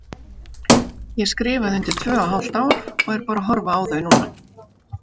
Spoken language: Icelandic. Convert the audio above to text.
Ég skrifaði undir tvö og hálft ár og er bara að horfa á þau núna.